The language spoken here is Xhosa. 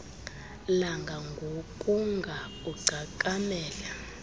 langa ngokunga ugcakamele